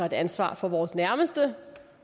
et ansvar for vores nærmeste